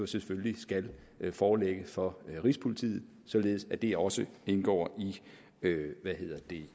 selvfølgelig skal forelægge for rigspolitiet således at det også indgår